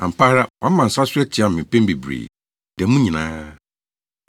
Ampa ara wama nsa so atia me mpɛn bebree, da mu nyinaa.